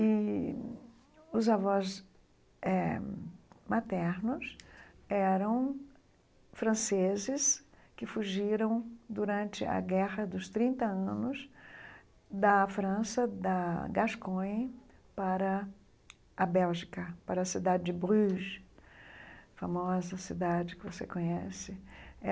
E os avós eh maternos eram franceses que fugiram durante a guerra dos trinta anos da França, da Gascogne, para a Bélgica, para a cidade de Bruges, famosa cidade que você conhece.